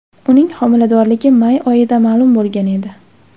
Uning homiladorligi may oyida ma’lum bo‘lgan edi .